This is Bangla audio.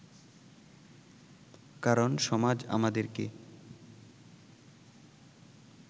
কারণ সমাজ আমাদেরকে